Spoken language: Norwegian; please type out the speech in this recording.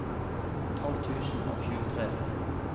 tolv tusen og tjuetre